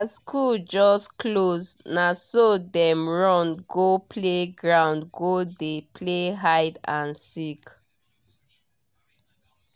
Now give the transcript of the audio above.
as school just close naso dem run go play ground go dey play hide and seek